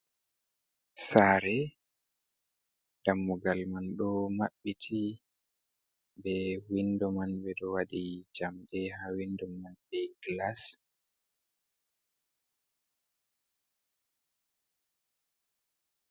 Sare dammugal man ɗo mabbiti be windo man ɓe ɗo waɗi jamɗe ha windo man be glas.